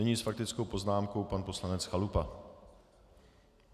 Nyní s faktickou poznámkou pan poslanec Chalupa.